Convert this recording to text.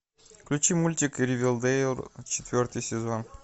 включи мультик ривердэйл четвертый сезон